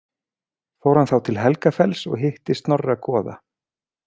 Fór hann þá til Helgafells og hitti Snorra goða.